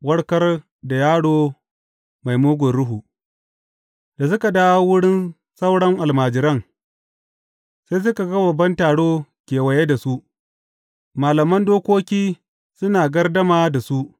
Warkar da yaro mai mugun ruhu Da suka dawo wurin sauran almajiran, sai suka ga babban taro kewaye da su, malaman dokoki suna gardama da su.